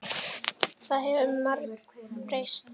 Það hefur margt breyst.